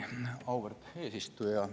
Auväärt eesistuja!